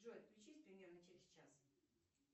джой отключись примерно через час